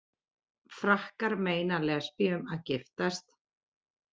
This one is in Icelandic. Frakkar meina lesbíum að giftast